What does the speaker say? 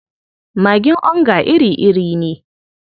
Magin onga iri-iri ne.